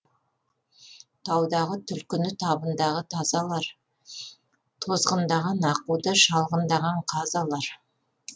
таудағы түлкіні табындағы тазы алар тозғындаған аққуды шалғындаған қаз алар